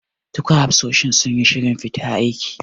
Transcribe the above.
Duka hafsoshi suyi shirin fita aiki.